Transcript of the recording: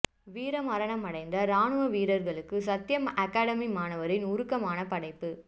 வீரமரணம் அடைந்த ராணுவ வீரர்களுக்கு சத்தியம் அகாடமி மாணவரின் உருக்கமான படைப்பு